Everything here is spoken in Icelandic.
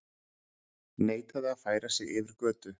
Neitaði að færa sig yfir götu